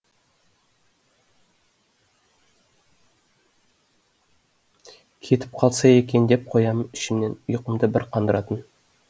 кетіп қалса екен деп қоямын ішімнен ұйқымды бір қандыратын